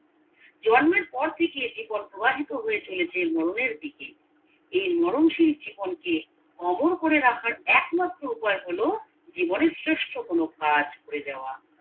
জন্মের পর থেকে জীবন প্রবাহিত হয়ে চলেছে মরণের দিকে এই মরণ সিল জীবন কে অমর করে রাখার একমাত্র উপায় হলো জীবনে শ্রেষ্ঠ কোনো কাজ করে যাওয়া